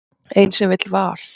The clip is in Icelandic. Ein sem vill val.